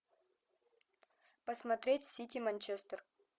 посмотреть сити манчестер